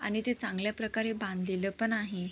आणि ते चांगल्या प्रकारे बांधलेल पण आहे.